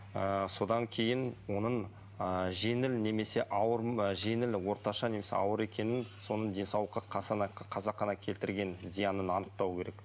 ыыы содан кейін оның ы жеңіл немесе ауыр а жеңіл орташа немесе ауыр екенін соның денсаулыққа қасақана келтірген зиянын анықтау керек